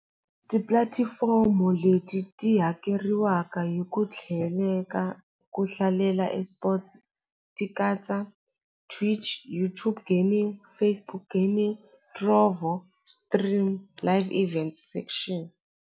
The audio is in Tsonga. Tipulatifomo leti ti hakeriwaka hi ku tlheleka ku hlalela eSports ti katsa Twitch, YouTube Gaming, Facebook Gaming Stream Live Event Section.